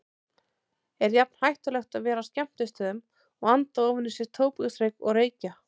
Er jafn hættulegt að vera á skemmtistöðum og anda ofan í sig tóbaksreyk og reykja?